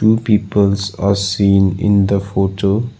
peoples are seen in the photo.